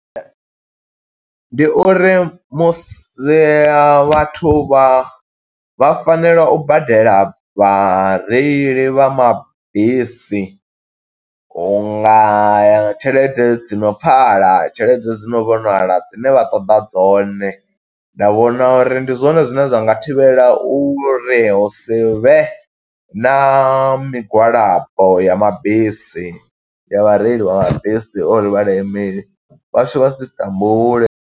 Ndi uri musi a vhathu vha, vha fanela u badela vhareili vha mabisi u nga ya tshelede dzi no pfala. Tshelede dzi no vhonala, dzine vha ṱoḓa dzone, nda vhona uri ndi zwone zwine zwa nga thivhela uri hu sivhe na migwalabo ya mabisi, ya vhareili vha mabisi, uri vhaṋameli vhashu vha si tambule.